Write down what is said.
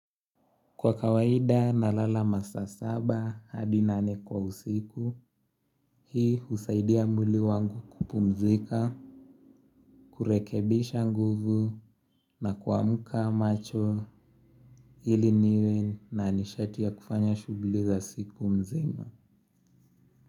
Kwa kawaida nalala masaa saba hadi nane kwa usiku, hii husaidia mwili wangu kupumzika, kurekebisha nguvu na kuamka macho ili niwe nanishatia kufanya shugli za siku mzima.